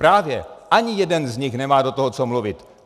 Právě, ani jeden z nich nemá do toho co mluvit.